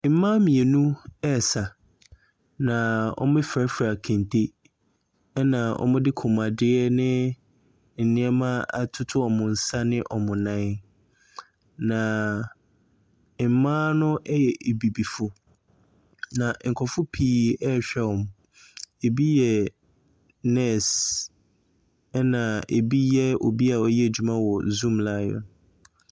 Mmaa mmienu ɛresa, na wɔafurafura kente, ɛna wɔde kɔnmuadeɛ ne nneɛma atoto wɔn nsa ɛne wɔn nan. Na mmaa no ɛyɛ abibifo, na nkurɔfo pii ɛrehwɛ wɔn. Ɛbi yɛ nɛɛse, ɛna ɛbi yɛ obi a ɔyɛ adwuma ɛwɔ Zoomlion.